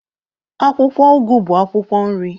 Akwụkwọ ugu bụ akwụkwọ nri.